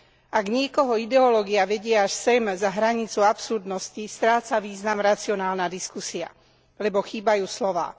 Ak niekoho ideológia vedie až sem, za hranicu absurdnosti, stráca význam racionálna diskusia, lebo chýbajú slová.